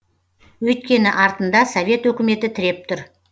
өйткені артында совет өкіметі тіреп тұр